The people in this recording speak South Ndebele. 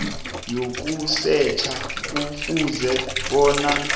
yokusetjha kufuze bona